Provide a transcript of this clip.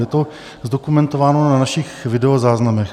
Je to zdokumentováno na našich videozáznamech.